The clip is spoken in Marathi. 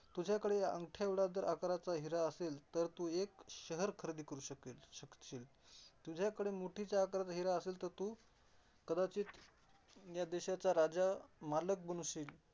तुझ्याकडे अंगठ्याएवढा जर आकाराचा हिरा असेल, तर तू हे एक शहर खरेदी करू शकेल, शक शील. तुझ्याकडे तर मुठीच्या आकाराचा हिरा असेल तर तू कदाचित या देशाचा राजा, मालक बनशील.